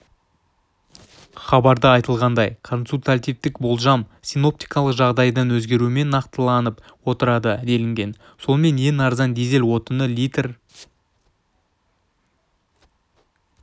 хабарда айтылғандай консультативтік болжам синоптикалық жағдайдың өзгеруімен нақтыланып отырады делінген сонымен ең арзан дизель отыны литр